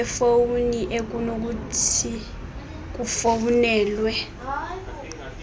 yefowuni ekunokuthi kufowunelwe